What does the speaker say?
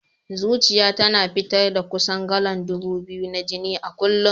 Zuciyar tana fitar da kusan galan ɗubu biyu na jini a kullum.